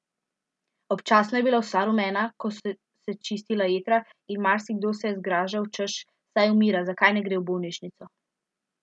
Občasno je bila vsa rumena, ko so se čistila jetra, in marsikdo se je zgražal, češ, saj umira, zakaj ne gre v bolnišnico!